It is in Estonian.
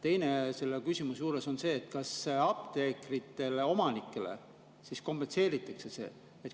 Teine asi selle küsimuse juures on see, kas apteekritele, omanikele, see kompenseeritakse.